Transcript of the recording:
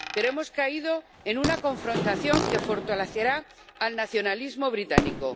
Pero hemos caído en una confrontación que fortalecerá el nacionalismo británico.